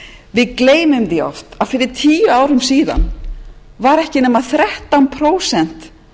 við gleymum því oft að fyrir tíu árum síðan voru ekki nema þrettán prósent